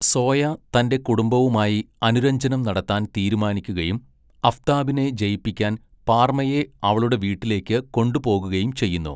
Soya തന്റെ കുടുംബവുമായി അനുരഞ്ജനം നടത്താൻ തീരുമാനിക്കുകയും അഫ്താബിനെ ജയിപ്പിക്കാൻ പാർമയെ അവളുടെ വീട്ടിലേക്ക് കൊണ്ടുപോകുകയും ചെയ്യുന്നു.